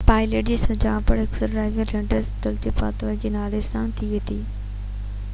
pilot جي سڃاڻپ squadron leader دلوڪرت پاتاوي جي نالي سان ٿي هئي